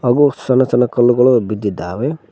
ಹಾಗು ಸಣ್ಣ ಸಣ್ಣ ಕಲ್ಲುಗಳು ಬಿದ್ದಿದ್ದಾವೆ.